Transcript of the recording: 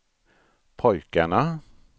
pojkarna